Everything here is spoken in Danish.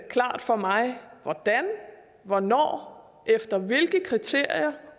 klart for mig hvordan hvornår og efter hvilke kriterier